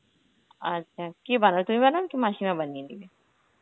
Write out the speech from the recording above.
আচ্ছা কে বানায়? তুমি বানাও কি মাসিমা বানিয়ে দিবে?